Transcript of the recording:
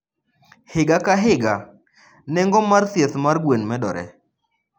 Higa ka higa, nengo mar thieth mar gwen medore.